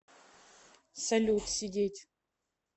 салют сидеть